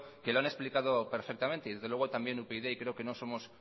que lo han explicado perfectamente y desde luego también upyd y creo que no somos